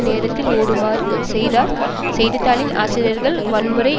நேரத்திற்கு ஓடுமாறு செய்தார் செய்தி தாளின் ஆசிரியர்கள் வன்முறை